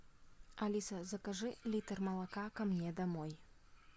алиса закажи литр молока ко мне домой